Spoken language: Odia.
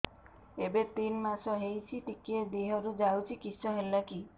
ଏବେ ତିନ୍ ମାସ ହେଇଛି ଟିକିଏ ଦିହରୁ ଯାଉଛି କିଶ ହେଲାକି